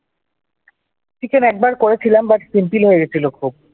Chicken একবার করেছিলাম but simple হয়ে গেছিল খুব ।